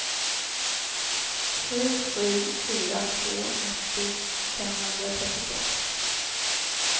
sju sju fyra två nittio femhundratrettiosex